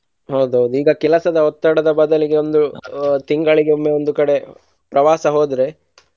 ಹೌದೌದು ಈಗ ಕೆಲಸದ ಒತ್ತಡದ ಬದಲಿಗೆ ಒಂದು ತಿಂಗಳಿಗೆ ಒಮ್ಮೆ ಒಂದು ಕಡೆ ಪ್ರವಾಸ ಹೋದ್ರೆ.